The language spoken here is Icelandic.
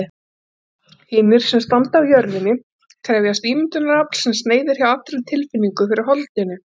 Hinar sem standa á jörðinni krefjast ímyndunarafls, sem sneiðir hjá allri tilfinningu fyrir holdinu.